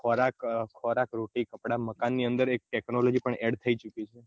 ખોરાક ખોરાક રોટી કપડા મકાન ની અંદર એક technology પણ add થઇ ચુકી છે